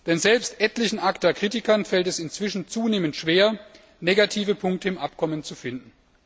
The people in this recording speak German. Denn selbst sämtlichen ACTA Kritikern fällt es inzwischen zunehmend schwer, negative Punkte im Abkommen zu finden.